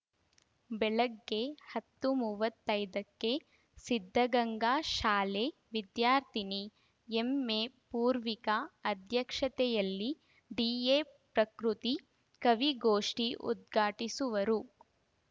ಬೆಳಗ್ಗೆ ಹತ್ತು ಮೂವತ್ತೈದಕ್ಕೆ ಸಿದ್ದಗಂಗಾ ಶಾಲೆ ವಿದ್ಯಾರ್ಥಿನಿ ಎಂಎಪೂರ್ವಿಕ ಅಧ್ಯಕ್ಷತೆಯಲ್ಲಿ ಡಿಎಪ್ರಕೃತಿ ಕವಿಗೋಷ್ಟಿಉದ್ಘಾಟಿಸುವರು